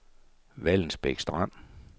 Vallensbæk Strand